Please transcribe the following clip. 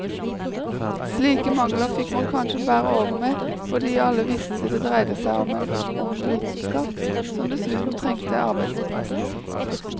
Slike mangler fikk man kanskje bære over med fordi alle visste det dreiet seg om en ung vitenskap, som dessuten trengte arbeidsplassene.